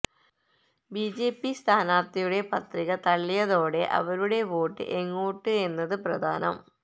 BJP സ്ഥാനാർത്ഥിയുടെ പത്രിക തള്ളിയതോടെ അവരുടെ വോട്ട് എങ്ങോട്ട് എന്നത് പ്രധാനം